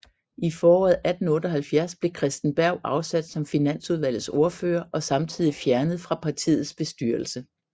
I foråret 1878 blev Christen Berg afsat som finansudvalgets ordfører og samtidigt fjernet fra partiets bestyrelse